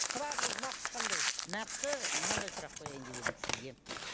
сұрағыңыз нақты қандай нақты мынандай сұрақ қояйын деп едім сізге